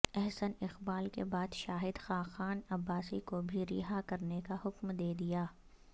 احسن اقبال کےبعد شاہد خاقان عباسی کو بھی رہا کرنے کا حکم دیدیا